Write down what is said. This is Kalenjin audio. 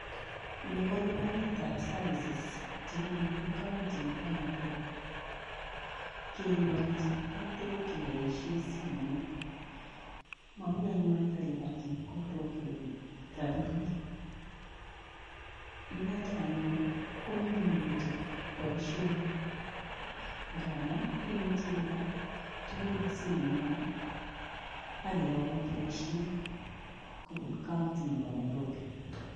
Ni ko lipanetab services che konu county nebo Nairobi , kelipani chepkondok keboisie simoit, momi anyun kelipan chepkondok rabiinik, ing notok anyun ko nyumnyumitu boisionik, ngamun imuchi ilipan tukuk eng simoingung ak keyoun boisiet kobun county nebo Nairobi